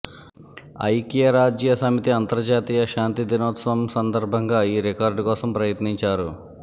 ఐక్యరాజ్య సమితి అంతర్జాతీయ శాంతి దినోత్సవం సందర్భంగా ఈ రికార్డు కోసం ప్రయత్నించారు